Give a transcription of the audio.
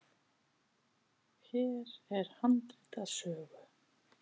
Hér er handrit að sögu.